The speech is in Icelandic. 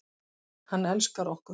Hann elskar okkur.